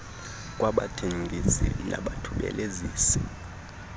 kwaba bathengisi nabathubelezisi